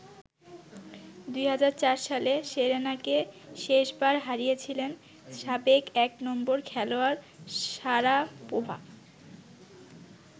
২০০৪ সালে সেরেনাকে শেষবার হারিয়েছিলেন সাবেক এক নম্বর খেলোয়াড় শারাপোভা।